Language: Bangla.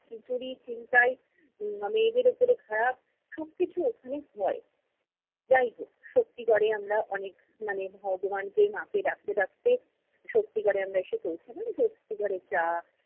চুরি, ছিনতাই, উম মেয়েদের উপরে খারাপ সব কিছু ওখানে হয়। যাই হোক, শক্তিগড়ে আমরা অনেক মানে ভগবানকে ডাকতে ডাকতে শক্তিগড়ে আমরা এসে পৌঁছালাম। শক্তিগড়ে চা,